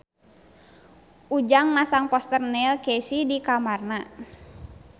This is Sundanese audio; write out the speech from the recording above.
Ujang masang poster Neil Casey di kamarna